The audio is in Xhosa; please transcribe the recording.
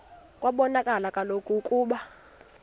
kwabonakala kaloku ukuba